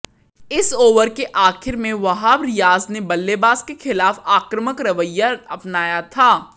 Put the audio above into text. इस ओवर के आखिर में वहाब रियाज ने बल्लेबाज के खिलाफ आक्रामक रवैया अपनाया था